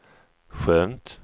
skönt